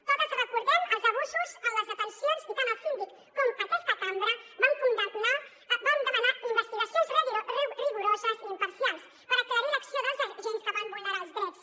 totes recordem els abusos en les detencions i tant el síndic com aquesta cambra vam demanar investigacions rigoroses i imparcials per aclarir l’acció dels agents que van vulnerar els drets